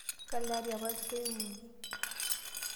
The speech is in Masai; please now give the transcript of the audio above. kalo ari apa kitoiwaki?